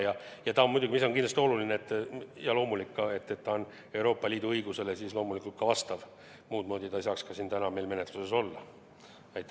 Ja muidugi on see eelnõu – see on kindlasti oluline – Euroopa Liidu õigusele vastav, muudmoodi ei saaks see meil täna siin menetluses ollagi.